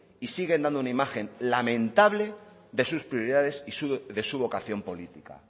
y siguen dando una imagen lamentable de sus prioridades y de su vocación política